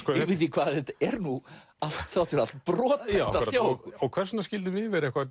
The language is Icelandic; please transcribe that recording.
hvað þetta er nú þrátt fyrir allt brothætt hjá okkur hvers vegna skyldum við vera eitthvað